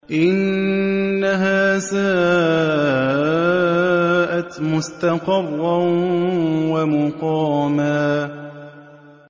إِنَّهَا سَاءَتْ مُسْتَقَرًّا وَمُقَامًا